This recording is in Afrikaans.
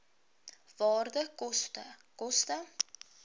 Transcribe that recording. waarde koste koste